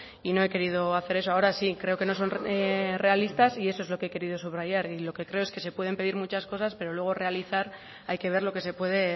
y no he querido hacer eso ahora sí creo que no son realistas y eso es lo que he querido subrayar y lo que creo es que se pueden pedir muchas cosas pero luego realizar hay que ver lo que se puede